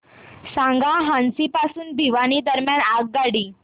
सांगा हान्सी पासून भिवानी दरम्यान आगगाडी